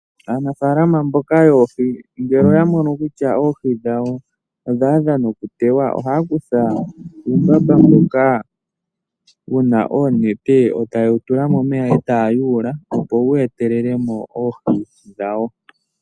Aanafalama mboka yoohi ngele oya mono kutya oohi dhawo odha adha okuteywa ohaya kutha uumbamba mboka wu na oonete e taye wu tula momemya e taya yuula, opo wu etelele mo oohi dhawo.